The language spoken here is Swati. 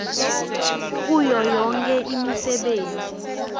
kuyo yonkhe imisebenti